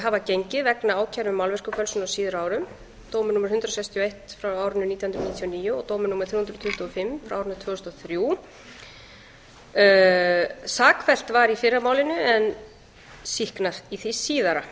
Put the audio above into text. hafa gengið vegna ákæru um málverkafölsun á síðari árum dómur númer hundrað sextíu og eitt nítján hundruð níutíu og níu og dómur númer þrjú hundruð tuttugu og fimm tvö þúsund og þrjú sakfellt var í fyrra málinu en sýknað í því síðara